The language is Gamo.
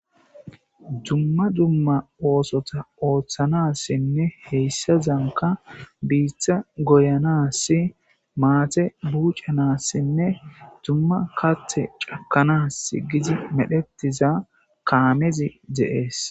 Dumma dumma osota othanasnne hesazanka bita goyanas mata bucanasinne dumma kathi cakanasi giidi medhetiza keemezi de'es.